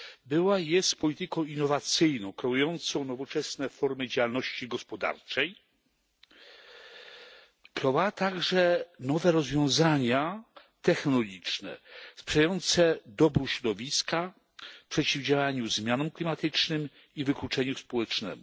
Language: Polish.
Była i jest polityką innowacyjną, kreującą nowoczesne formy działalności gospodarczej, a także nowe rozwiązania technologiczne, które sprzyjają dobru środowiska oraz przeciwdziałają zmianom klimatycznym i wykluczeniu społecznemu.